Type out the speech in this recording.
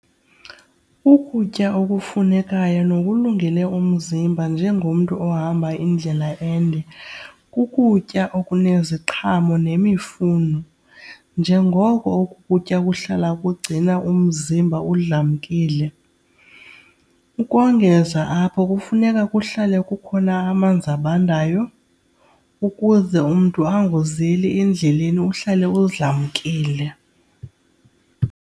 Ukutya okufunekayo nokulungele umzimba njengomntu ohamba indlela ende kukutya okuneziqhamo nemifuno njengoko oku kutya ukuhlala kugcina umzimba udlamkile. Ukongeza apho kufuneka kuhlale kukhona amanzi abandayo ukuze umntu angozeli endleleni, uhlale udlamkile.